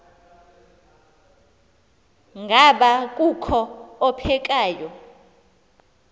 ngaba kukho ophekayo